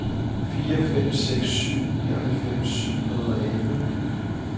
fire fem seks syv nioghalvfems syv hundrede og elleve